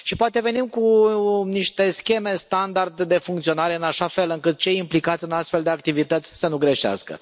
Poate venim cu niște scheme standard de funcționare, în așa fel încât cei implicați în astfel de activități să nu greșească.